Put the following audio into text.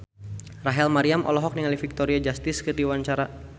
Rachel Maryam olohok ningali Victoria Justice keur diwawancara